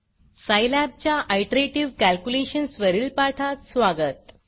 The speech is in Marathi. सायलॅब च्या आयटरेटिव कॅलक्युलेशन्स वरील पाठात स्वागत